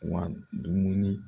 wa dumuni